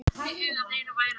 Fundu fjöldagröf í Mexíkó